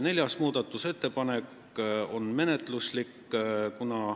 Neljas muudatusettepanek on menetluslik.